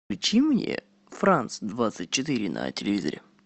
включи мне франс двадцать четыре на телевизоре